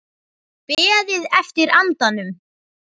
Beðið eftir andanum